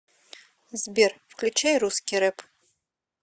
сбер включай русский рэп